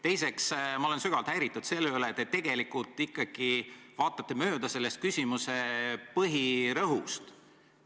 Teiseks, ma olen sügavalt häiritud sellest, et te tegelikult ikkagi vaatasite mööda minu küsimuse põhirõhust.